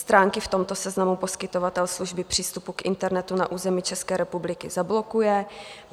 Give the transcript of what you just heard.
Stránky v tomto seznamu poskytovatel služby přístupu k internetu na území České republiky zablokuje.